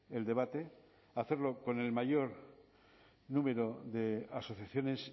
el debate hacerlo con el mayor número de asociaciones